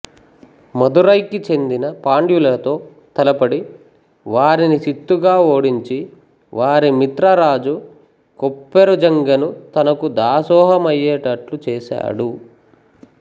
మదురైకి చెందిన పాండ్యులతో తలపడి వారిని చిత్తుగా ఓడించి వారి మిత్ర రాజు కొప్పెరుజంగను తనకు దాసోహమయ్యేటట్లు చేసాడు